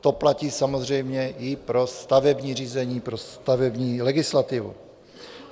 To platí samozřejmě i pro stavební řízení, pro stavební legislativu.